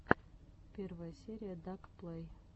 первая серия дак плэй